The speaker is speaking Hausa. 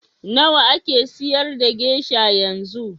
Nawa ake siyar da gesha yanzu?